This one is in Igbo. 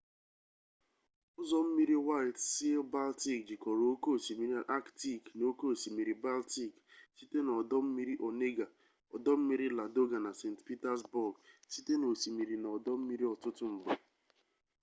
ụzọ mmiri waịt sii-baltik jikọrọ oke osimiri aktik na oke osimiri baltik site n'ọdọmmiri onega ọdọmmiri ladoga na saint petersbourg site n'osimiri na ọdọmmiri ọtụtụ mgbe